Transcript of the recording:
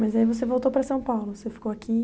Mas aí você voltou para São Paulo, você ficou aqui.